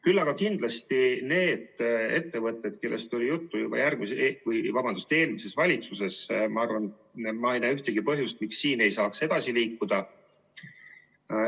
Küll aga kindlasti nende ettevõtete puhul, kellest oli juttu juba eelmises valitsuses, ma ei näe ühtegi põhjust, miks siin ei saaks edasi liikuda.